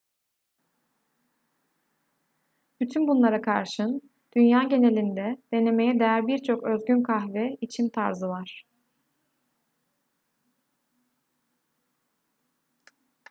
bütün bunlara karşın dünya genelinde denemeye değer birçok özgün kahve içim tarzı var